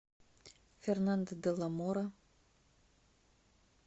фернандо де ла мора